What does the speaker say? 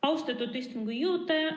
Austatud istungi juhataja!